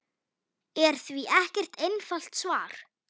er því ekkert einfalt svar.